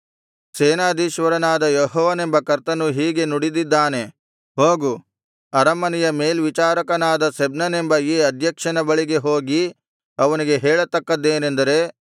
ಸೇನಾಧೀಶ್ವರನಾದ ಯೆಹೋವನೆಂಬ ಕರ್ತನು ಹೀಗೆ ನುಡಿದಿದ್ದಾನೆ ಹೋಗು ಅರಮನೆಯ ಮೇಲ್ವಿಚಾರಕನಾದ ಶೆಬ್ನನೆಂಬ ಈ ಅಧ್ಯಕ್ಷನ ಬಳಿಗೆ ಹೋಗಿ ಅವನಿಗೆ ಹೇಳತಕ್ಕದ್ದೇನೆಂದರೆ